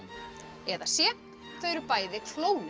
eða c þau eru bæði